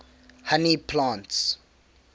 honey plants